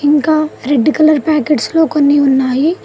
ఇంకా red colour packets లో కొన్ని ఉన్నాయి.